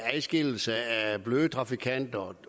adskillelse af bløde trafikanter